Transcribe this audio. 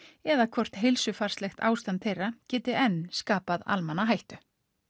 eða hvort heilsufar þeirra geti enn skapað almenna hættu